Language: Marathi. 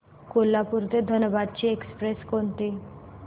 कोल्हापूर ते धनबाद ची एक्स्प्रेस कोणती